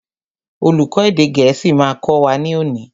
Olùkó èdè gẹ̀ẹ́sì ma kọ́ wa ní òní.